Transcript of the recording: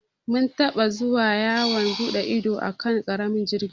Mun taɓa zuwa yawon buɗe ido a kan ƙaramin jirgin ruwa.